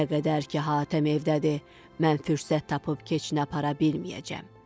Nə qədər ki Hatəm evdədir, mən fürsət tapıb keçini apara bilməyəcəm.